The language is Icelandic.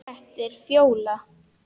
Þetta var Fjóla.